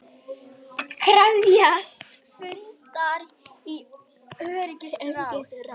Rithöfundasamtökin eru ekki söm eftir þessar sviptingar, þau eru virkari- og ekki eins flokkspólitísk.